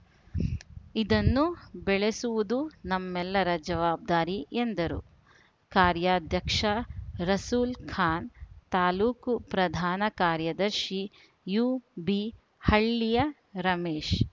ಇದನ್ನು ಬೆಳೆಸುವುದು ನಮ್ಮೆಲ್ಲರ ಜವಾಬ್ದಾರಿ ಎಂದರು ಕಾರ್ಯಾಧ್ಯಕ್ಷ ರಸೂಲ್‌ಖಾನ್‌ ತಾಲೂಕು ಪ್ರಧಾನ ಕಾರ್ಯದರ್ಶಿ ಯುಬಿಹಳ್ಳಿಯ ರಮೇಶ್‌